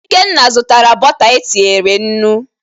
Ikenna zụtara bọta etinyere nnu.